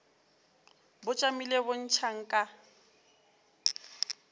bo tšamile bo ntšha nka